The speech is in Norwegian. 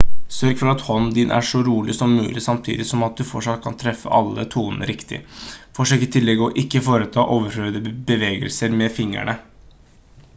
sørg for at hånden din er så rolig som mulig samtidig som at du fortsatt kan treffe alle tonene riktig forsøk i tillegg å ikke foreta overflødige bevegelser med fingrene